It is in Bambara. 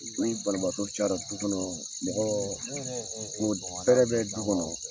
Ni balimabaatɔ cayara du kɔnɔ mɔgɔ fɛɛrɛ bɛ du kɔnɔ